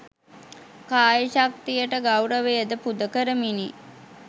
කාය ශක්තියට ගෞරවයද පුද කරමිනි.